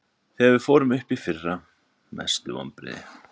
Þegar við fórum upp í fyrra Mestu vonbrigði?